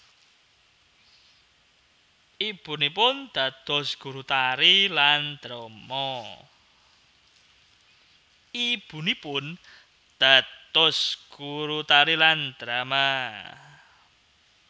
Ibunipun dados guru tari lan drama